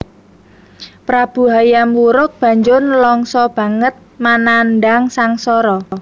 Prabu Hayam Wuruk banjur nlangsa banget manandhang sangsara